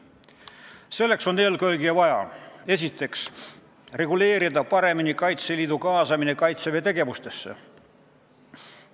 Selleks on eelkõige vaja, esiteks, paremini reguleerida Kaitseliidu kaasamine Kaitseväe tegevustesse.